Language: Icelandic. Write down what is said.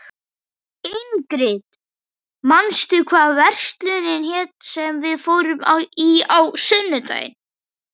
Ingrid, manstu hvað verslunin hét sem við fórum í á sunnudaginn?